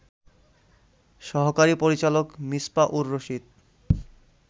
সহকারী পরিচালক মিছপা উর রশিদ